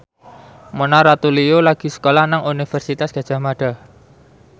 Mona Ratuliu lagi sekolah nang Universitas Gadjah Mada